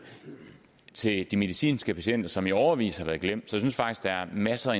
til de medicinske patienter som i årevis har været glemt jeg synes faktisk der er masser